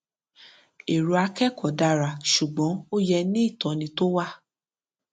erò akẹkọọ dára ṣùgbọn ó yẹ ìtóni tó wà